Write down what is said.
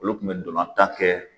Olu kun be dolantan kɛ